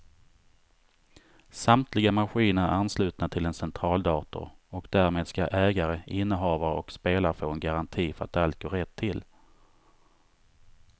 Samtliga maskiner är anslutna till en centraldator och därmed ska ägare, innehavare och spelare få en garanti för att allt går rätt till.